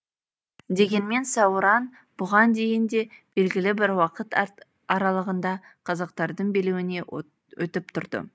дегенмен сауран бұған дейін де белгілі бір уақыт аралығында қазақтардың билеуіне өтіп тұрды